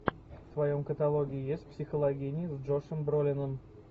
в твоем каталоге есть психологини с джошем бролином